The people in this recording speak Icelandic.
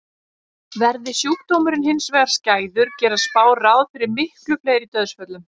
Verði sjúkdómurinn hins vegar skæður gera spár ráð fyrir miklu fleiri dauðsföllum.